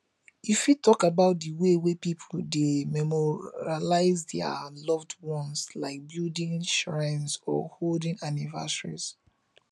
you fit talk about di ways wey people dey memorialize dia loved ones like building shrines or holding anniversaries